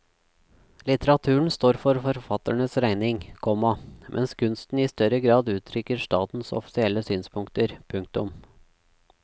Litteraturen står for forfatterens regning, komma mens kunsten i større grad uttrykker statens offisielle synspunkter. punktum